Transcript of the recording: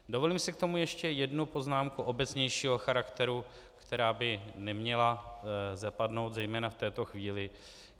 Dovolím si k tomu ještě jednu poznámku obecnějšího charakteru, která by neměla zapadnout zejména v této chvíli.